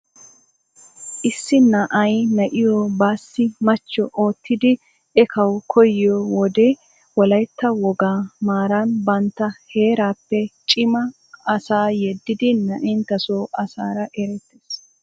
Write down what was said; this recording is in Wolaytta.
Issi na'ay na'iyo baassi machcho oottidi ekkawu koyyiyo wode Wolaytta wogaa maaran bantta heerappe cima asaa yedidi na'enttasoo asaara erettees.